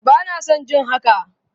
Bana son jin haka!